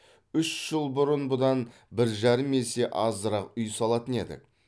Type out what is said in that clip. үш жыл бұрын бұдан бір жарым есе азырақ үй салатын едік